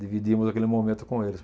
Dividimos aquele momento com eles.